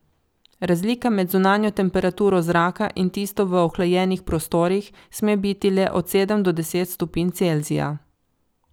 Razlika med zunanjo temperaturo zraka in tisto v ohlajenih prostorih sme biti le od sedem do deset stopinj Celzija.